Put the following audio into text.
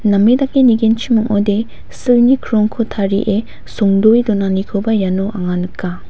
name dake nigenchim ong·ode silni krongko tarie songdoe donanikoba iano anga nika.